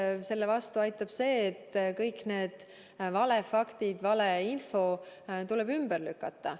Eks selle vastu aitab see, et kõik need valefaktid, valeinfo tuleb ümber lükata.